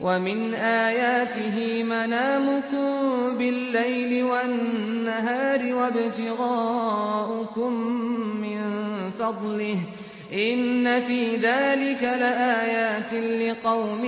وَمِنْ آيَاتِهِ مَنَامُكُم بِاللَّيْلِ وَالنَّهَارِ وَابْتِغَاؤُكُم مِّن فَضْلِهِ ۚ إِنَّ فِي ذَٰلِكَ لَآيَاتٍ لِّقَوْمٍ